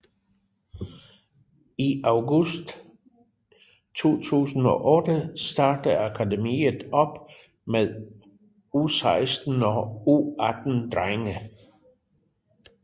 I august 2008 startede akademiet op med U16 og U18 drenge